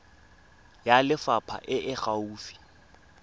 ya lefapha e e gaufi